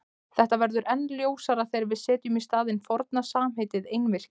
Þetta verður enn ljósara þegar við setjum í staðinn forna samheitið einvirki.